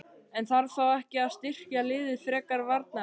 En þarf þá ekki að styrkja liðið frekar varnarlega?